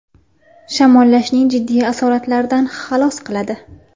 Shamollashning jiddiy asoratlaridan xalos qiladi.